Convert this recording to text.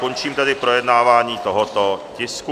Končím tedy projednávání tohoto tisku.